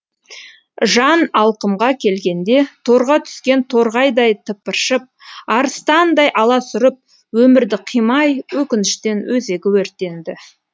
жан алқымға келгенде торға түскен торғайдай тыпыршып арыстандай аласұрып өмірді қимай өкініштен өзегі өртенді